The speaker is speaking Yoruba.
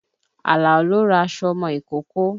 Àlàó lọ ra aṣọ ọmọ ìkókó